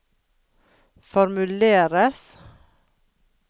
formuleres